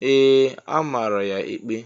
Ee! A mara ya ikpe.